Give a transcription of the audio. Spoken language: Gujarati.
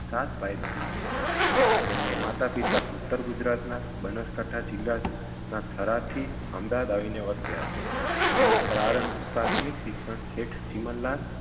સાત ભાઈ બહેન હતા અને તેમના માતા પિતા ઉત્તર ગુજરાતના બનાસકાંઠા જિલ્લા ના થરાદથી અમદાવાદ આવીને વસ્યાં હતા તેમનું પ્રારંભ પ્રાથમિક શિક્ષણ શેઠ ચીમનલાલ